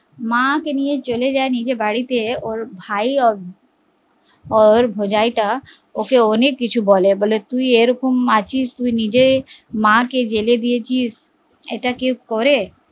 মা কে নিয়ে চলে যায় নিজের বাড়িতে ওর ভাই ওর ভোজাই টা ওকে অনেক কিছু বলে, বলে তুই এরকম আছিস তুই নিজের মা কে জেলে দিয়েছিস এটা কেও করে?